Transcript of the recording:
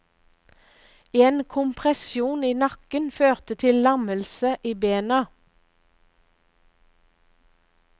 En kompressjon i nakken førte til lammelse i bena.